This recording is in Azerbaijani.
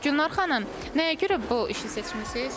Gülnar xanım, nəyə görə bu işi seçmisiz?